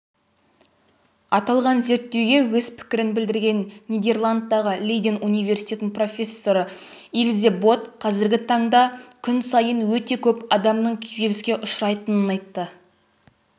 аталған зерттеуге өз пікірін білдірген нидерландтағы лейден университетінің профессорыилзе бот қазіргі таңда күн сайын өте көп адамның күйзеліске ұшырайтынын айтты